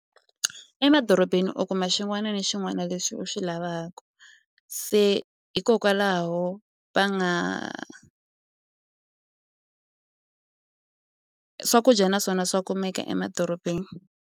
Emadorobeni u kuma xin'wana na xin'wana lexi u xi lavaku se hikokwalaho va nga swakudya naswona swa kumeka emadorobeni.